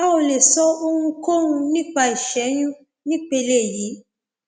a ò lè sọ ohunkóhun nípa ìṣẹyún ní ìpele yìí